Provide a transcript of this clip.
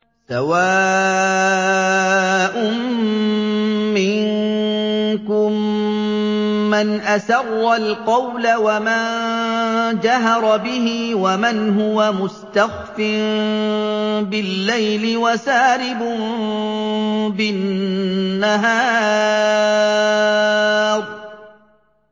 سَوَاءٌ مِّنكُم مَّنْ أَسَرَّ الْقَوْلَ وَمَن جَهَرَ بِهِ وَمَنْ هُوَ مُسْتَخْفٍ بِاللَّيْلِ وَسَارِبٌ بِالنَّهَارِ